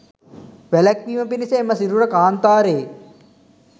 වැළැක්වීම පිණිස එම සිරුර කාන්තාරයේ